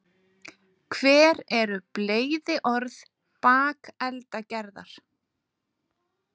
hver eru bleyðiorð bakeldagerðar